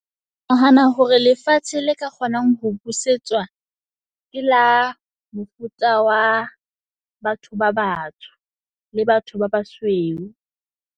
Ke nahana hore lefatshe le ka kgonang ho busetswa ke la mofuta wa batho ba batsho le batho ba basweu.